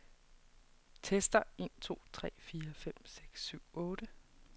Tester en to tre fire fem seks syv otte.